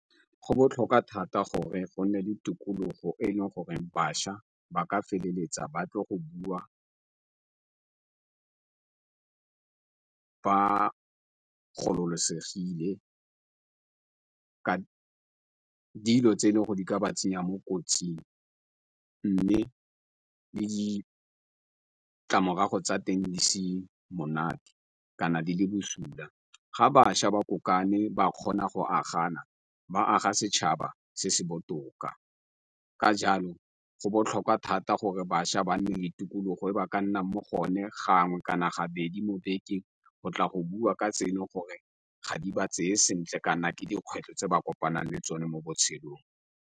Go botlhokwa thata gore go nne le tikologo e e leng gore bašwa ba ka feleletsa ba tlo go bua ba gololosegile ka dilo tse le go di ka ba tsenya mo kotsing, mme le ditlamorago tsa teng di se monate kana di le bosula. Ga bašwa ba kopane ba kgona go agana ba aga setšhaba se se botoka, ka jalo go botlhokwa thata gore bašwa ba nne le tikologo gore ba ka nnang mo go o ne gangwe kana ga bedi mo bekeng go tla go bua ka tse e le gore ga di ba tseye sentle kana ke dikgwetlho tse ba kopana le tsone mo botshelong.